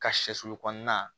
Ka sɛsulu kɔnɔna